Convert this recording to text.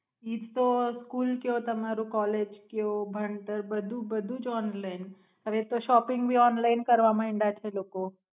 ઈજતો કયો તમારું કૉલેજ કયો ભણતર બધું બધું જ ઓનલાઇન હવેતો સોપીંગ ભી ઓનલાઇન કરવા માયડા છે લોકો.